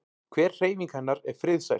Hver hreyfing hennar er friðsæl.